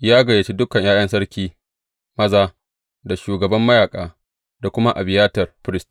Ya gayyaci dukan ’ya’yan sarki maza, da shugaban mayaƙa, da kuma Abiyatar firist.